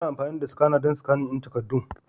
Ana amfani da skana don sikanin takaddun.